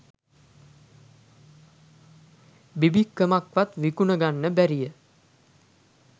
බිබික්කමක්වත් විකුණා ගන්නට බැරිය